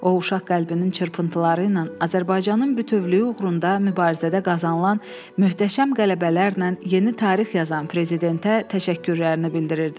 O uşaq qəlbinin çırpıntıları ilə Azərbaycanın bütövlüyü uğrunda mübarizədə qazanılan möhtəşəm qələbələrlə yeni tarix yazan prezidentə təşəkkürlərini bildirirdi.